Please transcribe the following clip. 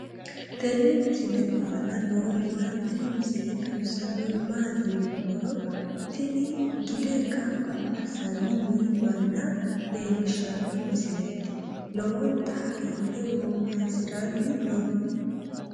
tenne misile aana noorina tini misile xawissannori maati yinummoro tini gide gamba assanni nii manna leellishshanno misileeti lowonta hagiidhe woowansiranni no